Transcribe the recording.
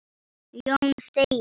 Jón segir: